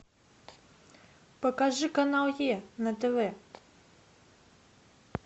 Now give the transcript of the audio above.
покажи канал е на тв